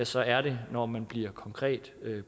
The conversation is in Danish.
så er det når man bliver konkret